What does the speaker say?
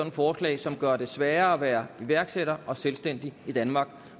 et forslag som gør det sværere at være iværksætter og selvstændig i danmark